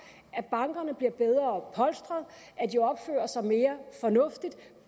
at bankerne bliver bedre polstret og opfører sig mere fornuftigt